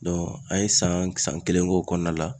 an ye san kelen k'o kɔnɔna la.